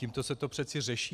Tímto se to přece řeší.